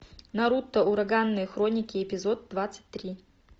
наруто ураганные хроники эпизод двадцать три